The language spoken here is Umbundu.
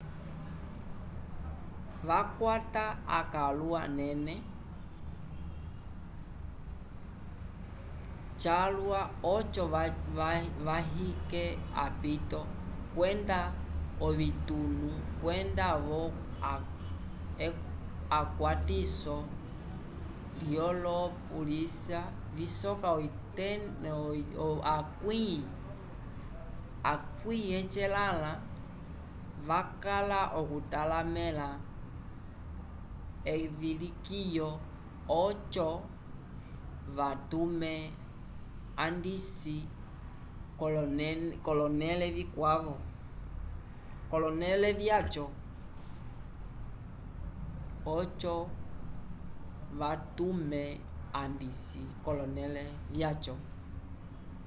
vakwata akãlu anene calwa oco vayike apito kwenda ovitunu kwenda-vo ekwatiso lyolo polisya visoka 80 vakala okutalamẽla evilikiyo oco vatume andisi k'olonẽle vyaco